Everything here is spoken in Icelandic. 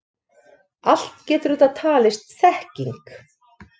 Allt getur þetta talist þekking.